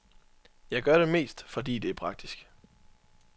Jeg gør det mest, fordi det er praktisk.